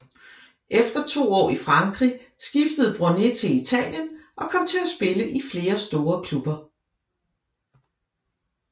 Efter to år i Frankrig skiftede Bronée til Italien og kom til at spille i flere store klubber